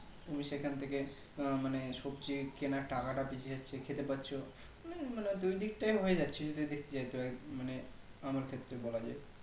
তুমি সেখান থেকে আহ মানে সবজি কিনার টাকাটা বেচে যাচ্ছে খেতে পাচ্ছো উম মানে দুইদিক থেকে হয়ে যাচ্ছে কিন্তু এই দিক থেকে তোর মানে আমার ক্ষেত্রে বলা যাই